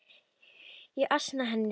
Ég ansa henni ekki.